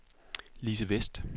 Lise Westh